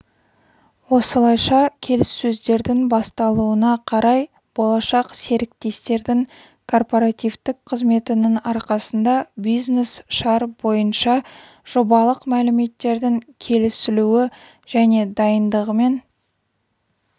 осылайша келіссөздердің басталуына қарай болашақ серіктестердің корпоративтік қызметінің арқасында бизнес-шар бойынша жобалық мәліметтердің келісілуі және дайындығымен